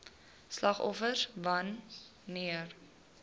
slagoffers wan neer